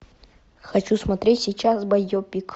хочу смотреть сейчас байопик